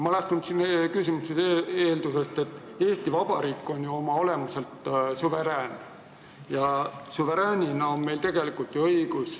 Ma lähtun oma küsimuses eeldusest, et Eesti Vabariik on ju oma olemuselt suveräänne.